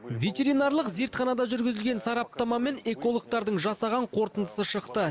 ветеринарлық зертханада жүргізілген сараптама мен экологтардың жасаған қорытындысы шықты